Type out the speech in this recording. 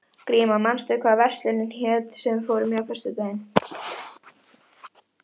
Grímar, manstu hvað verslunin hét sem við fórum í á föstudaginn?